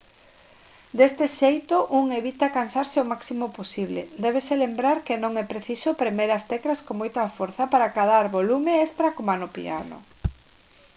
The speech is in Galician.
deste xeito un evita cansarse o máximo posible débese lembrar que non é preciso premer as teclas con moita forza para acadar volume extra coma no piano